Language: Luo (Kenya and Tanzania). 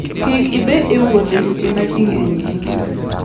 Kik ibed e wuoth e seche ma ji ng'enyie.